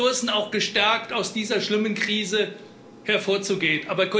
Wir haben die Ressourcen, auch gestärkt aus dieser schlimmen Krise hervorzugehen.